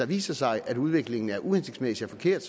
viser sig at udviklingen er uhensigtsmæssig og forkert